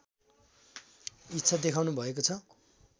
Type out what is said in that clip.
इच्छा देखाउनुभएको छ